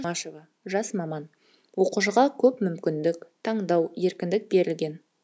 жұмашева жас маман оқушыға көп мүмкіндік таңдау еркіндік берілген